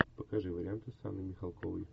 покажи варианты с анной михалковой